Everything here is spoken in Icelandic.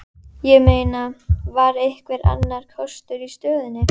Ég meina, var einhver annar kostur í stöðunni?